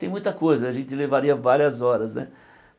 Tem muita coisa, a gente levaria várias horas né.